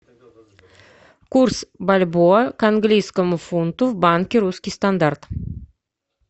курс бальбоа к английскому фунту в банке русский стандарт